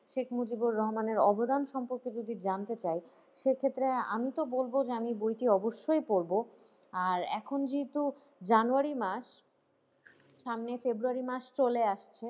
শেখ মজিবুর রহমানের অবদান সম্পর্কে যদি জানতে চাই সে ক্ষেত্রে আমি তো বলব যে আমি বইটি অবশ্যই পড়বো আর এখন যেহেতু জানুয়ারি মাস সামনে ফেব্রুয়ারি মাস চলে আসছে।